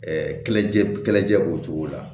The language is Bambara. Ɛɛ kɛlɛcɛ kɛlɛcɛ b'o cogo la